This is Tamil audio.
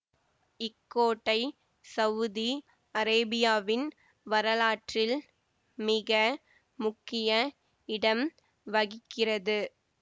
இக்கோட்டை சவுதி அரேபியாவின் வரலாற்றில் மிக முக்கிய இடம் வகிக்கிறது